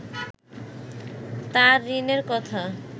তাঁর ঋণের কথা